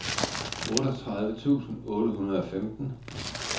otteogtredive tusind otte hundrede og femten